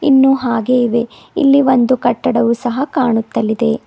ಇನ್ನು ಹಾಗೇ ಇವೆ ಇಲ್ಲಿ ಒಂದು ಕಟ್ಟಡವು ಸಹ ಕಾಣುತ್ತಲಿದೆ.